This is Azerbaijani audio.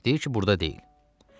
Deyir ki, burda deyil.